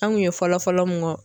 An kun ye fɔlɔfɔlɔ mun fɔ.